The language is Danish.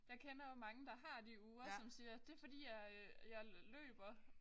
Jeg kender jo mange der har de ure som siger det fordi jeg øh jeg løber